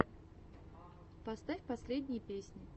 поставь последние песни